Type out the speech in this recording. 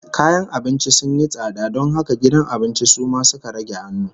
Kayan abinci sun yi tsada don haka gidan abincin su ma suka rage hannu